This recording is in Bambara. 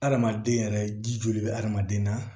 Hadamaden yɛrɛ ji joli bɛ hadamaden na